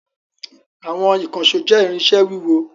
Àwọn ìkànṣó jẹ́ irinṣẹ́ wúwo.